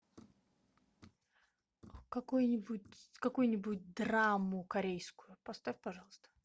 какой нибудь какую нибудь драму корейскую поставь пожалуйста